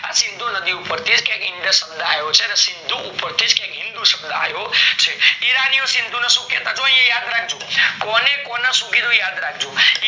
આ સિંધુ નદી ઉપર થી કે indus શબ્દ યો છે ને ઇસ્ન્ધુ ઉપર થીજ હિંદુ શબ્દ આયો છે ઈરાનીઓ સિંધુ શું કેતા જો આયા યાદ રાખજો કોને કોના સુધી નું યાદ રાખજો